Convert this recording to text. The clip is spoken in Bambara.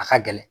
A ka gɛlɛn